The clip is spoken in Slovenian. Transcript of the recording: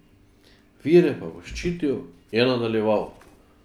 Vire pa bo ščitil, je nadaljeval.